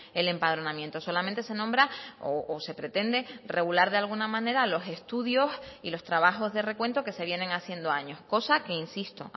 el empadronamiento solamente se nombra o se pretende regular de alguna manera los estudios y los trabajos de recuento que se vienen haciendo años cosa que insisto